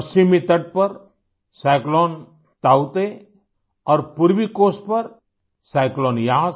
पश्चिमी तट पर साइक्लोन ताऊते और पूर्वी कोस्ट पर साइक्लोन यास